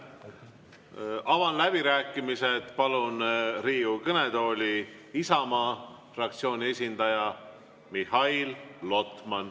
Avan läbirääkimised ja palun Riigikogu kõnetooli Isamaa fraktsiooni esindaja Mihhail Lotmani.